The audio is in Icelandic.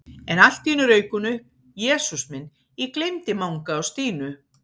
En allt í einu rauk hún upp: Jesús minn, ég gleymdi Manga og Stínu